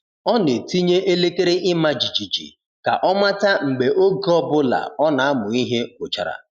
Ọ na-etinye elekere ịma jijiji ka ọ mata mgbe oge ọ bụla ọ na-amụ ihe gwụchara.